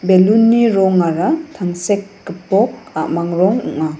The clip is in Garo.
balloon-ni rongara tangsek gipok a·mang rong ong·a.